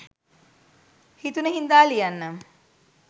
හිතුන හින්දා ලියන්නම්.